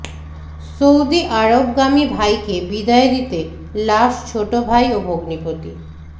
Saudi আরবগামী ভাইকে বিদায় দিতে লাশ ছোট ভাই ও ভগ্নিপতি